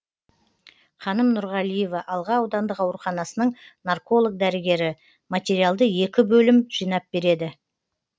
қаным нұрғалиева алға аудандық ауруханасының нарколог дәрігері материалды екі бөлім жинап береді